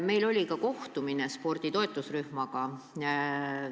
Meil oli sel teemal kohtumine spordi toetusrühmaga.